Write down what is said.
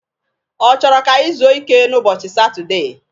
Ọ chọrọ ka anyị zuo ike n'ụbọchị Satudee?